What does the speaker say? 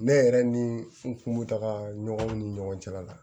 Ne yɛrɛ ni n kun me taa ɲɔgɔn ni ɲɔgɔn cɛla la